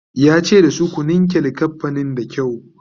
yace da su "ku ninke linkafanin da kyau!"